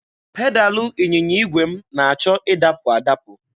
Pedalụ ịnyịnya igwe m na-achọ ịdapụ adapụ.